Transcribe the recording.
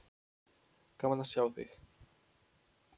Gaman að sjá þig.